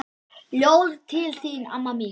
Ljóð til þín amma mín.